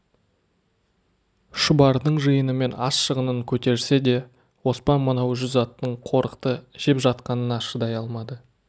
шұбардың жиыны мен ас шығынын көтерсе де оспан мынау жүз аттың қорықты жеп жатқанына шыдай алмады